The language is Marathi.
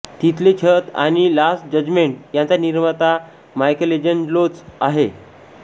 तिथले छत आणि लास्ट जजमेंट यांचा निर्माता मायकलेंजलोच आहे